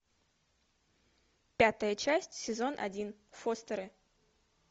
пятая часть сезон один фостеры